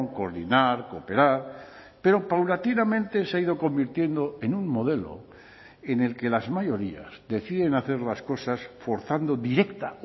coordinar cooperar pero paulatinamente se ha ido convirtiendo en un modelo en el que las mayorías deciden hacer las cosas forzando directa